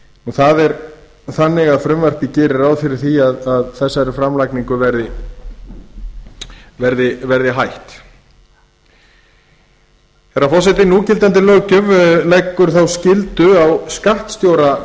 það er þannig að frumvarpið gerir ráð fyrir því að þessari framlagningu verði hætt herra forseti núgildandi löggjöf leggur þá skyldu á skattstjóra